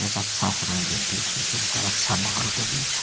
एक अच्छा समय व्यतीत हो छे एकर अच्छा माहौल के बीच।